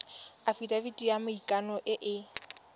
afitafiti ya maikano e e